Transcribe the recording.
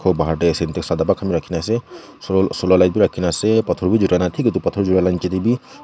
Ghor bahar dae ase edu sadaba khan bhi rakhina ase so solar light bhi rakhina ase pathor bhi julai na thik etu pathor julai la nechidae dae bhi--